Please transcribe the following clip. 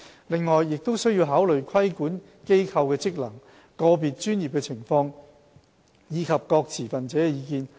此外，亦須考慮規管機構的職能、個別專業的情況，以及各持份者的意見。